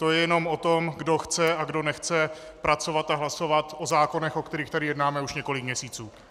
To je jenom o tom, kdo chce a kdo nechce pracovat a hlasovat o zákonech, o kterých tady jednáme už několik měsíců.